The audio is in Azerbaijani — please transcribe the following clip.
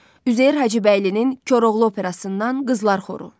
Üzeyir Hacıbəylinin Koroğlu Operasından qızlar xoru.